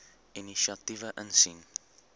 inisiatiewe insien